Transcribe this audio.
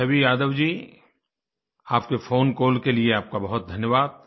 छवि यादव जी आपके phone call के लिए आपका बहुत धन्यवाद